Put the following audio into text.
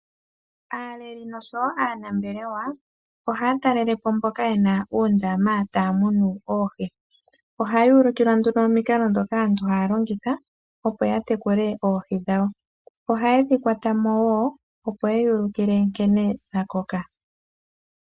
Aaleli oshowo aanambelewa ohaya talelepo mbono yena uundama womeya taya munu oohi. Ohaya ulikilwa nduno omikalo ndhoka aantu haya longitha, opo ya tekule oohi dhawo nohayedhi kwatamo yeyuulikile nkene dhakoka.